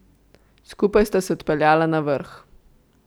Skupaj sta se odpeljala na vrh.